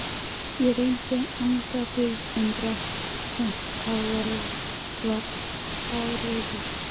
Ég reyndi antabus en drakk samt og varð fárveikur.